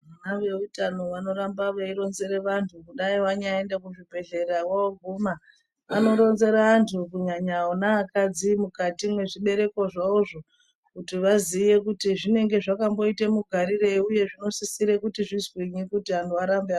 Vona veutano vanoramba veironzera vantu kudai wanyaenda kuzvibhedhlera woguma vanoronzerwa antu kunyanya ona akadzai mukati mwezvibereko zvawozvo kuti vaziye kuti zvinenge zvakamboita mugarirei uye zvinosisire kuti zvizwinyi kuti anhu arambe.